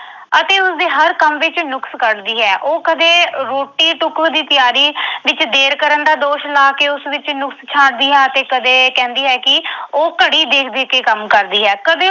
ਅਤੇ ਉਸਦੇ ਹਰ ਕੰਮ ਵਿੱਚ ਨੁਕਸ ਕੱਢਦੀ ਹੈ। ਉਹ ਕਦੇ ਰੋਟੀ-ਟੁੱਕ ਦੀ ਤਿਆਰੀ ਵਿੱਚ ਦੇਰ ਕਰਨ ਦਾ ਦੋਸ਼ ਲਾ ਕੇ ਉਸ ਵਿੱਚ ਨੁਕਸ ਛਾਂਟਦੀ ਹੈ ਅਤੇ ਕਦੇ ਕਹਿੰਦੀ ਹੈ ਕਿ ਉਹ ਘੜੀ ਦੇਖ ਦੇਖ ਕੇ ਕੰਮ ਕਰਦੀ ਹੈ। ਕਦੇ